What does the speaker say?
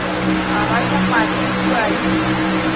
a gaša mahlo kua le